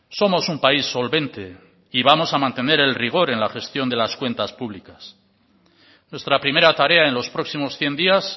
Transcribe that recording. somos un país solvente y vamos a mantener el rigor en la gestión de las cuentas públicas nuestra primera tarea en los próximos cien días